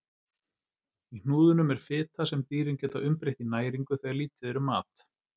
Í hnúðunum er fita sem dýrin geta umbreytt í næringu þegar lítið er um mat.